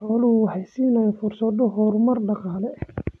Xooluhu waxay siinayaan fursado horumar dhaqaale.